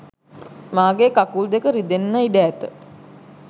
මාගේ කකුල් දෙක ද රිදෙන්න ඉඩ ඇත